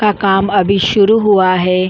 का काम अभी शुरू हुआ है।